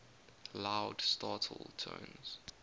loud startle tones